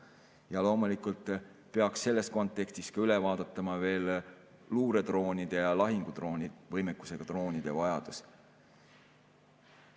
Ja loomulikult peaks selles kontekstis üle vaatama veel luuredroonide ja lahingudrooni võimekusega droonide vajaduse.